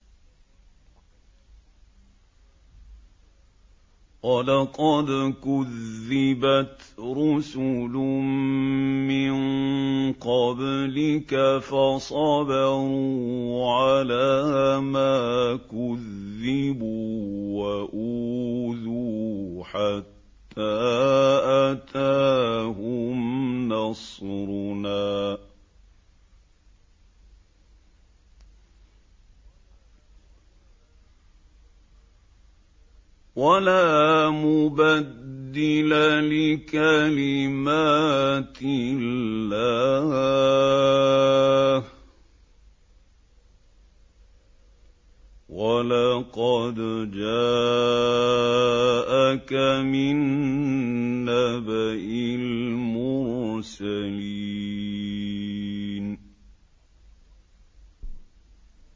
وَلَقَدْ كُذِّبَتْ رُسُلٌ مِّن قَبْلِكَ فَصَبَرُوا عَلَىٰ مَا كُذِّبُوا وَأُوذُوا حَتَّىٰ أَتَاهُمْ نَصْرُنَا ۚ وَلَا مُبَدِّلَ لِكَلِمَاتِ اللَّهِ ۚ وَلَقَدْ جَاءَكَ مِن نَّبَإِ الْمُرْسَلِينَ